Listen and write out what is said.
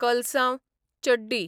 कल्सांव, चड्डी